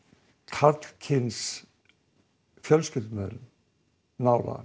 karlkyns fjölskyldumeðlim nálægan